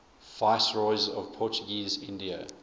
viceroys of portuguese india